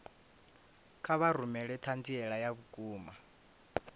kha vha rumele ṱhanziela ya vhukuma